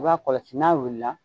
I b'a kɔlɔsi n'a wulila